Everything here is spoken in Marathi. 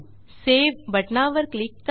सावे बटणावर क्लिक करा